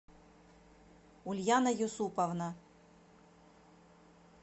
ульяна юсуповна